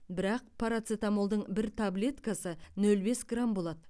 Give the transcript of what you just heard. бірақ парацетамолдың бір таблеткасы нөл бес грамм болады